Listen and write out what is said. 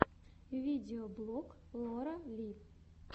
видеоблог лора ли